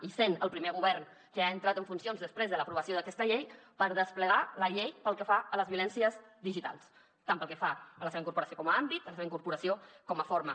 i sent el primer govern que ha entrat en funcions després de l’aprovació d’aquesta llei per desplegar la llei pel que fa a les violències digitals tant pel que fa a la seva incorporació com a àmbit com a la seva incorporació com a forma